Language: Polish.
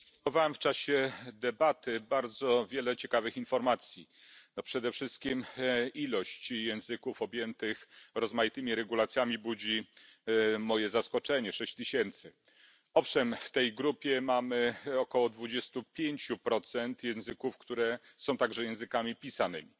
Panie Przewodniczący! Odnotowałem w czasie debaty bardzo wiele ciekawych informacji. Przede wszystkim liczba języków objętych rozmaitymi regulacjami budzi moje zaskoczenie 6tys. Owszem w tej grupie mamy około 25 procent języków, które są także językami pisanymi.